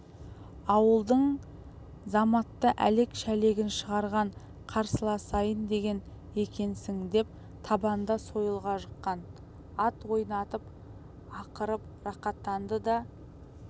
ауылдың заматта әлек-шәлегін шығарған қарсыласайын деген екенсің деп табанда сойылға жыққан ат ойнатып ақырып рақаттанды да